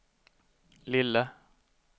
lille